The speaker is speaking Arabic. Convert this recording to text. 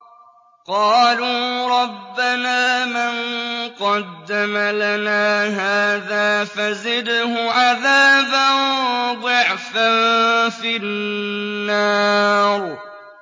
قَالُوا رَبَّنَا مَن قَدَّمَ لَنَا هَٰذَا فَزِدْهُ عَذَابًا ضِعْفًا فِي النَّارِ